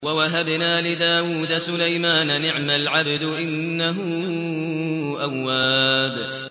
وَوَهَبْنَا لِدَاوُودَ سُلَيْمَانَ ۚ نِعْمَ الْعَبْدُ ۖ إِنَّهُ أَوَّابٌ